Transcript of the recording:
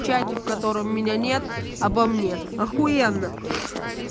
в чате в котором меня нет обо мне ахуенно